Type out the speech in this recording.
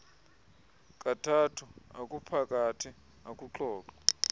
kathathu okuphakathi ekuxoxwa